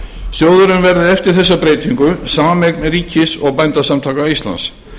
sjóðurinn verði eftir þessa breytingu sameign ríkis og bændasamtaka íslands